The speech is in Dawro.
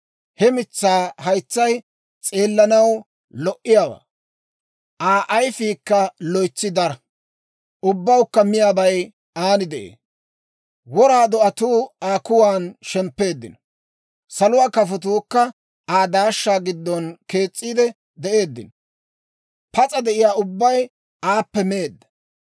He mitsaa haytsay s'eellanaw lo"iyaawaa; Aa ayifiikka loytsi dara; ubbawukka miyaabay aan de'ee. Wora do'atuu Aa kuwan shemppeeddino; saluwaa kafotuukka Aa daashshaa giddon kees's'iide de'eeddino. Pas'a de'iyaa ubbay aappe meedda.